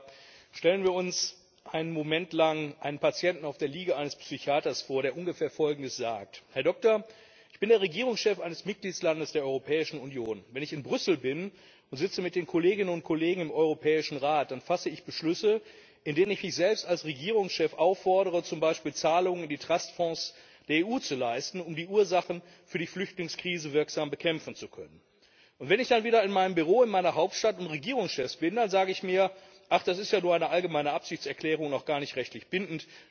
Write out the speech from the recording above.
Frau Präsidentin, sehr geehrter Herr Minister Schmit, sehr geehrte Frau Vizepräsidentin Georgieva! Stellen wir uns einen Moment lang einen Patienten auf der Liege eines Psychiaters vor, der ungefähr Folgendes sagt Herr Doktor, ich bin der Regierungschef eines Mitgliedslandes der Europäischen Union. Wenn ich in Brüssel bin und sitze mit den Kolleginnen und Kollegen im Europäischen Rat, dann fasse ich Beschlüsse, in denen ich mich selbst als Regierungschef auffordere, zum Beispiel Zahlungen in die Trustfonds der EU zu leisten, um die Ursachen für die Flüchtlingskrise wirksam bekämpfen zu können. Und wenn ich dann wieder in meinem Büro in meiner Hauptstadt und Regierungschef bin, dann sage ich mir Ach, das ist ja nur eine allgemeine Absichtserklärung und auch gar nicht rechtlich bindend.